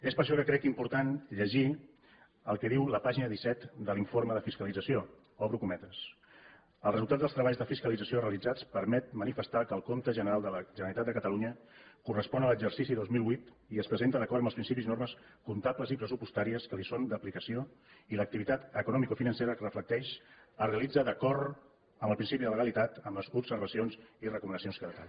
és per això que crec important llegir el que diu la pàgina disset de l’informe de fiscalització obro cometes el resultat dels treballs de fiscalització realitzats permet manifestar que el compte general de la generalitat de catalunya correspon a l’exercici dos mil vuit i es presenta d’acord amb els principis i normes comptables i pressupostàries que li són d’aplicació i l’activitat economicofinancera que reflecteix es realitza d’acord amb el principi de legalitat amb les observacions i recomanacions que es detallen